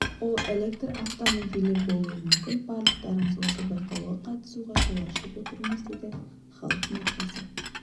ол электр автомобилі болуы мүмкін барлықтарыңызға осы байқауға қатысуға жол ашып отырмыз дейді халық маркасы